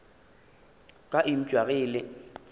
ka eupša ge e le